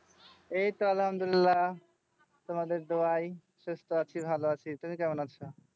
এই তো আল্লাহামদুল্লিলাহ তোমাদের দোয়ায় সুস্থ আছি ভালো আছি তুমি কেমন আছো